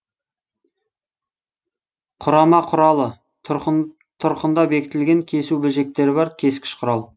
құрама құралы тұрқында бекітілген кесу бөлшектері бар кескіш құрал